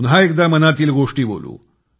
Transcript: पुन्हा एकदा मनातील गोष्टी बोलू